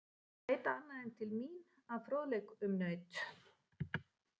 Þið verðið að leita annað en til mín að fróðleik um naut.